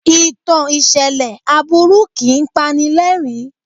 Ìtàn ìṣẹ̀lẹ̀ aburu kìí pani lẹ́rìn-ín.